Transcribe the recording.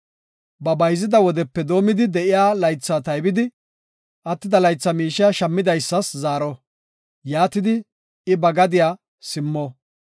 Ba bayzida wodepe doomidi de7iya laytha taybidi, attida laytha miishiya shammidaysas zaaro; yaatidi I ba gadiya simmo.